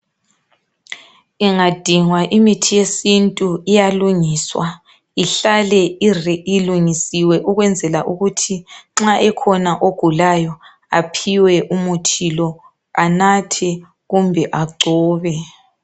Ingadingwa imithi yesintu iyalungiswa ihlale ilungisiwe ukwenzela ukuthi nxa ekhona egulayo aphiwe umuthi lo anathe kumbe agcobe.